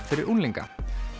fyrir unglinga